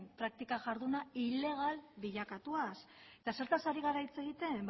praktika jarduna ilegal bilakatuaz eta zertaz ari gara hitz egiten